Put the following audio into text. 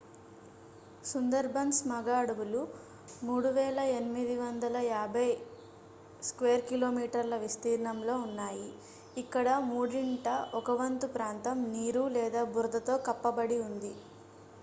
సుందర్బన్స్ మగ అడవులు 3,850 km² విస్తీర్ణంలో ఉన్నాయి ఇక్కడ మూడింట ఒకవంతు ప్రాంతం నీరు/బురదతో కప్పబడి ఉంది